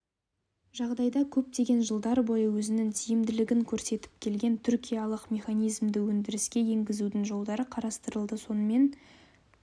жағдайда көптеген жылдар бойы өзінің тиімділігін көрсетіп келген түркиялық механизмді өндіріске енгізудің жолдары қарастырылды сонымен